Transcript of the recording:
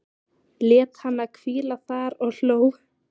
Lét hana hvíla þar og hló.